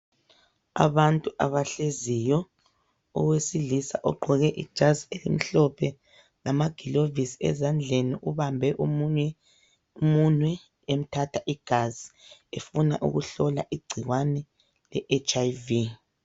Abantu abahleziyo , owesilisa ogqoke ijazi elimhlophe lamagilovisi ezandleni .Ubambe omunye umunwe emthatha igazi efuna ukuhlola igcikwane le HIV.